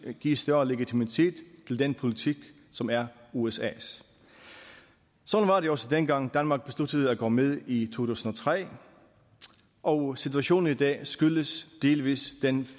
at give større legitimitet til den politik som er usas sådan var det også den gang danmark besluttede at gå med i tusind og tre og situationen i dag skyldes delvis den